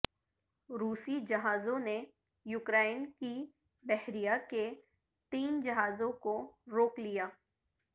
روسی جہازوں نے یوکرائن کی بحریہ کے تین جہازوں کو روک لیا